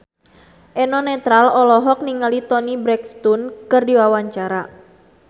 Eno Netral olohok ningali Toni Brexton keur diwawancara